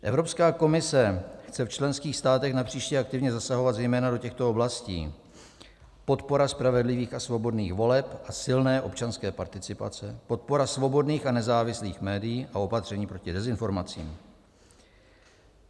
Evropská komise chce v členských státech napříště aktivně zasahovat zejména do těchto oblastí: podpora spravedlivých a svobodných voleb a silné občanské participace, podpora svobodných a nezávislých médií a opatření proti dezinformacím.